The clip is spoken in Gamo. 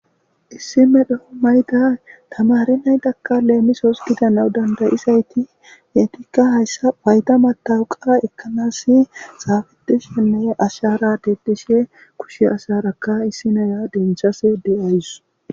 Issi medho mayda tamare naytakka leemisoos gidanaw dandayizayti yeetikka hayssa payta matawuqa ekkanas saafetishenne ashara dedishe kushe asharakka issi naya denchas de'ays.